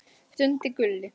stundi Gulli.